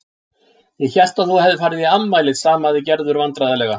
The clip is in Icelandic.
Ég hélt að þú hefðir farið í afmælið stamaði Gerður vandræðalega.